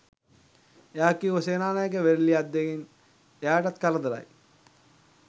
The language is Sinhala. එයා කිව්වේ සේනානායක වේරලියද්දගෙන් එයාටත් කරදරයි